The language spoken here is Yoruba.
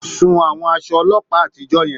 Sun àwọn aṣọ ọlọ́pàá àtijọ́ yẹn.